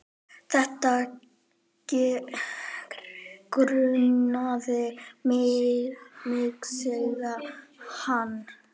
Þetta grunaði mig sagði hann.